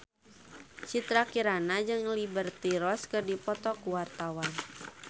Citra Kirana jeung Liberty Ross keur dipoto ku wartawan